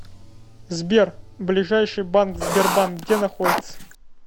сбер ближайший банк сбербанк где находится